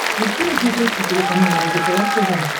ищи на смотрешке телеканал лдпр тв